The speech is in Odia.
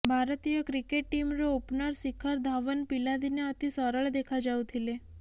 ଭାରତୀୟ କ୍ରିକେଟ ଟିମ୍ର ଓପନର ଶିଖର ଧାଓ୍ବନ ପିଲା ଦିନେ ଅତି ସରଳ ଦେଖାଯାଉଥିଲେ